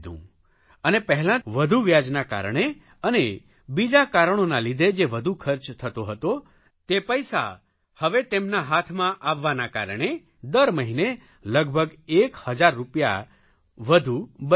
અને પહેલાં વધુ વ્યાજના કારણે અને બીજા કારણોના લીધે જે વધુ ખર્ચ થતો હતો તે પૈસા હવે તેમના હાથમાં આવવાના કારણે દર મહિને લગભગ એક હજાર રૂપિયા વધુ બચવા લાગ્યા